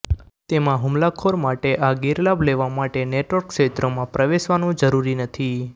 તેમાં હુમલાખોર માટે આ ગેરલાભ લેવા માટે નેટવર્ક ક્ષેત્રમાં પ્રવેશવાનું જરૂરી નથી